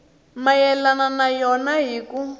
mayelana na yona hi ku